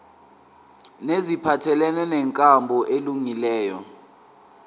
neziphathelene nenkambo elungileyo